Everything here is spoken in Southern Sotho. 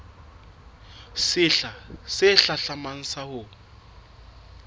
sehla se hlahlamang sa ho